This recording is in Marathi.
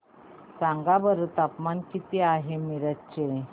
सांगा बरं तापमान किती आहे मिरज चे